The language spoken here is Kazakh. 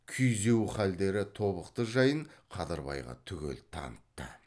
күйзеу халдері тобықты жайын қадырбайға түгел танытты